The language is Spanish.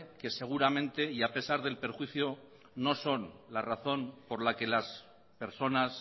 que seguramente y a pesar del perjuicio no son la razón por la que las personas